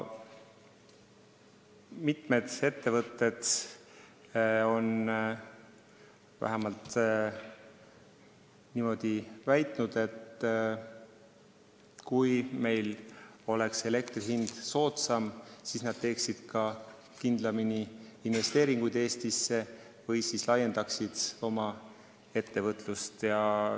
Mitmed ettevõtjad on vähemalt niimoodi väitnud, et kui elektri hind oleks soodsam, siis nad teeksid kindlamini investeeringuid Eestisse või laiendaksid oma ettevõtet.